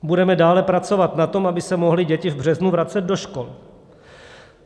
Budeme dále pracovat na tom, aby se mohly děti v březnu vracet do škol.